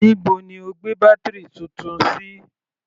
Níbo ni o gbé bátírì Titun sí?